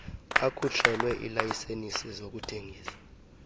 akhutshelwe iilayisenisi zokuthengisa